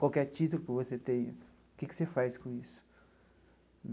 Qualquer título que você tenha, o que que você faz com isso?